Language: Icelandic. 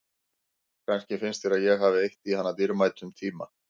Kannski finnst þér að ég hafi eytt í hana dýrmætum tíma.